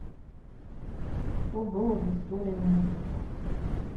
что было в история музыки